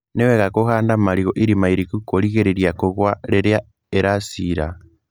Nĩ wega kũhanda marigũ irima iriku kũrigĩrĩria kũgũa rĩrĩa ĩracira.